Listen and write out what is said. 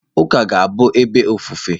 Ụka ka ga-abụ ebe ofufe.